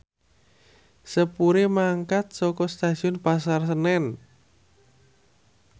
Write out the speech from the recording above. sepure mangkat saka Stasiun Pasar Senen